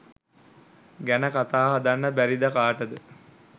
ගැන කතා හදන්ඩ බැරිද කාටද